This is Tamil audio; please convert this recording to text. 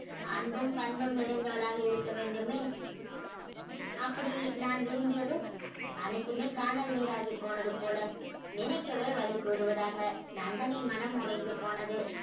அன்பும் பண்பும் நிறைந்தவளாக இருக்க வேண்டுமே அப்படி நான் விரும்பியது அனைத்துமே கானல் நீராகி போனது போல நினைக்கவே வலி கூறுவதாக நந்தனின் மனம் உடைந்து போனது